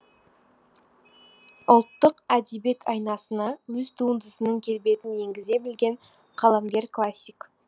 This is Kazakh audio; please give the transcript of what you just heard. ұлттық әдебиет айнасына өз туындысының келбетін енгізе білген қаламгер классик